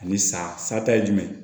Ani sa satata ye jumɛn ye